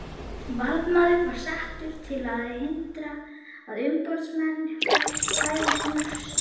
Varðmaður var settur til að hindra að umboðsmanninum bærist njósn.